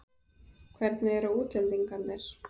Hvernig eru útlendingarnir?